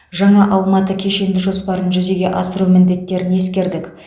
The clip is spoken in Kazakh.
жаңа алматы кешенді жоспарын жүзеге асыру міндеттерін ескердік